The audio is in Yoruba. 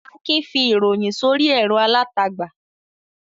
Akin fi ìròyìn sórí ẹ̀rọ alátagbà.